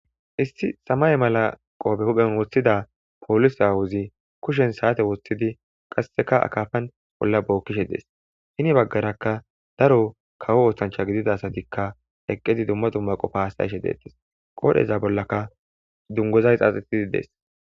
Issi samaye mala qobe huphen wothida polise awozi kushren sate wothidi qaseka akafan ola bokishe des hen bagaraka daro kawo osanchati gidida asatika eqidi dumma dumma qofan hasayish detes qodheza bollaka duguza xaxetidi des